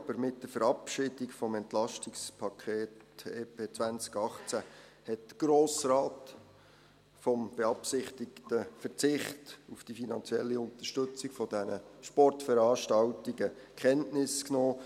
Aber mit der Verabschiedung des EP 2018 hat der Grosse Rat vom beabsichtigten Verzicht auf die finanzielle Unterstützung dieser Sportveranstaltungen Kenntnis genommen.